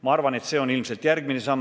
Ma arvan, et see on ilmselt järgmine samm.